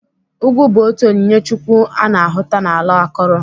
Ugwu bụ otu onyinye chukwu a na-ahụta n'ala akọrọ.